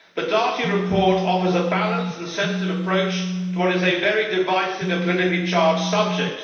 The Dati report offers a balanced and sensitive approach to what is a very divisive and politically charged subject.